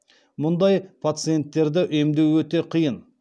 мұндай пациенттерді емдеу өте қиын